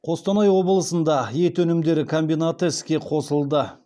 қостанай облысында ет өнімдері комбинаты іске қосылды